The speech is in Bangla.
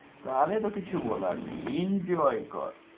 তাহলে তো আর কিছু বলার নেই enjoy কর